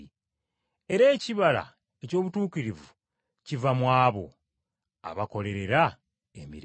Era ekibala eky’obutuukirivu kiva mu abo abakolerera emirembe.